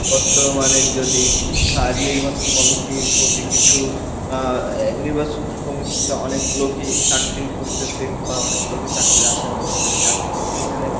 বর্তমানে যদি আর নির্বাচন কমিটির প্রতি কিছু আহ নির্বাচন কমিটিতে অনেক লোকই চাকরি করতেছে, বা অনেক লোকই চাকরির আশায় বসে থাকে, আসল কথা এখানে,